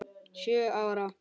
Sjö ára?